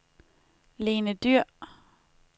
Lene Dyhr